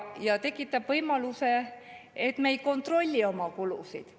See tekitab võimaluse, et me ei kontrolli oma kulusid.